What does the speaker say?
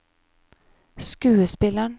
skuespilleren